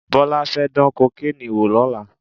Bọ́lá fẹ́ dán kokéènì wò lọ́la